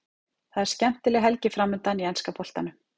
Það er skemmtileg helgi framundan í enska boltanum.